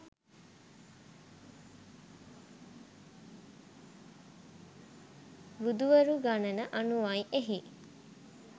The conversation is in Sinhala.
බුදුවරු ගණන අනුවයි එහි